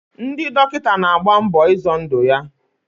Ndị dọkịta na-agba mbọ izọ ndụ ya.